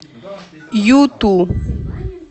юту